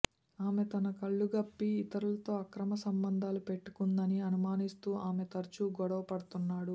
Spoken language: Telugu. ఆమె తన కళ్లుగప్పి ఇతరులతో అక్రమ సంబంధాలు పెట్టుకుందని అనుమానిస్తూ ఆమె తరుచూ గొడవ పడుతున్నాడు